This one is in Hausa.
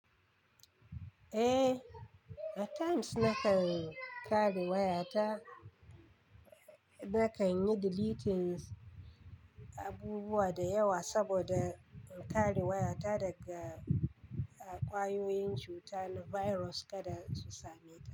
Eh, at times nakan kare wayata, nakan yi deleting abubuwa da yawa saboda in kare wayata daga ƙwayoyin cuta na virus kada su same ta.